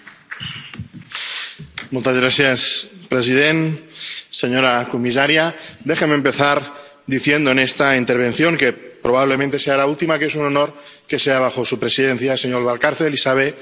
Señor presidente, señora comisaria, déjeme empezar diciendo en esta intervención, que probablemente sea la última, que es un honor que sea bajo su presidencia, señor Valcárcel, y sabe que se lo digo de corazón.